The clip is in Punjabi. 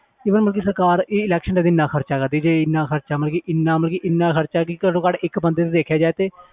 Even ਮਤਲਬ ਕਿ ਸਰਕਾਰ ਇਹ election ਤੇ ਇੰਨਾ ਖ਼ਰਚਾ ਕਰਦੀ ਪਈ ਇੰਨਾ ਖ਼ਰਚਾ ਮਤਲਬ ਕਿ ਇੰਨਾ ਮਤਲਬ ਕਿ ਇੰਨਾ ਖ਼ਰਚਾ ਕਿ ਘੱਟੋ ਘੱਟ ਇੱਕ ਬੰਦੇ ਤੇ ਦੇਖਿਆ ਜਾਏ ਤੇ